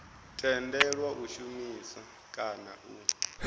tendelwa u shumisa kana u